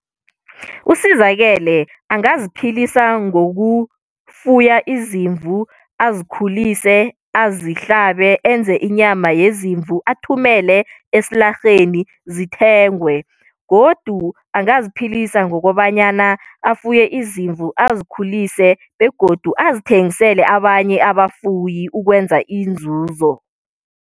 USizakele angaziphilisa ngokufuya izimvu, azikhulise, azihlabe enze inyama yezimvu, athumele esilarheni zithengwe. Godu angaziphilisa ngokobanyana afuye izimvu azikhulise begodu azithengisele abanye abafuyi ukwenza inzuzo.